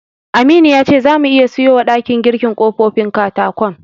Aminu ya ce zamu iya siyowa ɗakin girkin ƙofofin katakon.